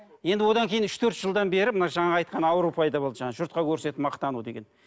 енді одан кейін үш төрт жылдан бері мына жаңағы айтқан ауру пайда болды жаңағы жұртқа көрсетіп мақтану деген